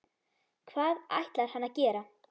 Hvað ætlar hann að gera?